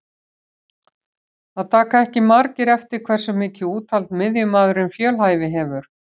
Það taka ekki margir eftir hversu mikið úthald miðjumaðurinn fjölhæfi hefur.